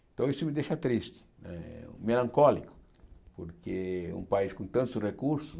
Então isso me deixa triste, eh melancólico, porque um país com tantos recursos...